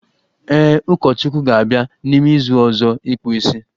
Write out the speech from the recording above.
Ee, Ụkọchukwu ga-abịa n'ime izu ọzọ ịkpụ isi